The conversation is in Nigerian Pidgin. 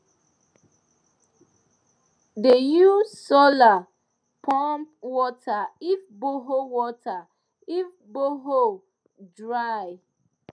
de use solar pump water if borehole water if borehole dry